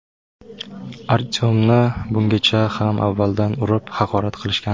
Artyomni bungacha ham avvaldan urib, haqorat qilishgan.